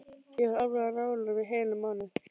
Ég var alveg á nálum í heilan mánuð.